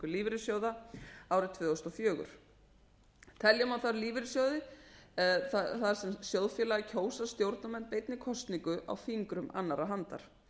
lífeyrissjóða árið tvö þúsund og fjórir telja má þá lífeyrissjóði þar sem sjóðfélagar kjósa stjórnarmenn beinni kosningu á fingrum annarrar handar